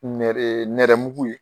Nɛrɛ nɛrɛmugu ye